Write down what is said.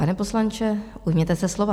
Pane poslanče, ujměte se slova.